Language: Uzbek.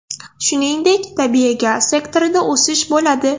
Shuningdek, tabiiy gaz sektorida o‘sish bo‘ladi.